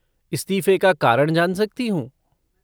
इस्तीफे का कारण जान सकती हूँ?